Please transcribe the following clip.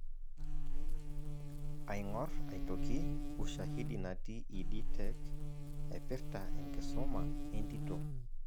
Aing'or aitoki ushahidi natii Ed Tech naipirta enkisuma entito.